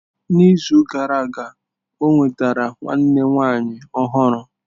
N'izu gara aga ọ nwetara nwanne nwanyị ọhụrụ.